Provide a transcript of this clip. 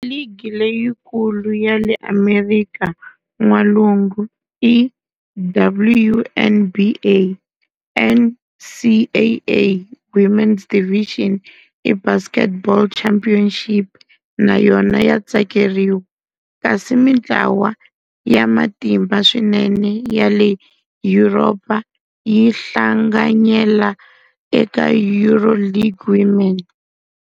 Ligi leyikulu ya le Amerika N'walungu i WNBA NCAA Women's Division I Basketball Championship na yona ya tsakeriwa, kasi mintlawa ya matimba swinene ya le Yuropa yi hlanganyela eka EuroLeague Women.